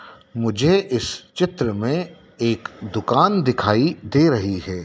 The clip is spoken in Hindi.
मुझे इस चित्र में एक दुकान दिखाई दे रही है।